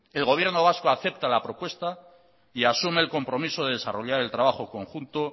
el gobierno vasco acepta la propuesta y asume el compromiso de desarrollar el trabajo conjunto